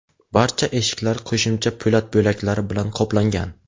Barcha eshiklar qo‘shimcha po‘lat bo‘laklari bilan qoplangan.